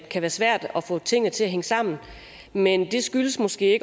kan være svært at få tingene til at hænge sammen men det skyldes måske